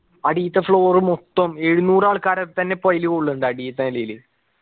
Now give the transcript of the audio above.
അടിത്തെ floor മൊത്തം എഴുന്നൂറ് ആൾക്കാരെ പ്പെന്നെ അയില് കൊള്ളുന്നുണ്ട് അടില് ത്തെ നിലയില്